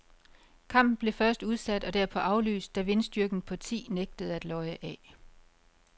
Kampen blev først udsat og derpå aflyst, da vindstyrken på ti nægtede at løje af.